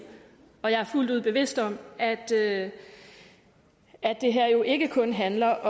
jeg er fuldt ud bevidst om at det at det her jo ikke kun handler